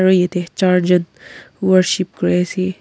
yate charjen worship kuri ase.